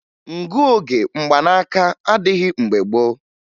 Ngụoge mgbanaaka adịghị mgbe gboo